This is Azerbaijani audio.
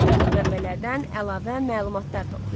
Müxtəlif mənbələrdən əlavə məlumatlar toplayın.